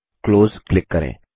close click करें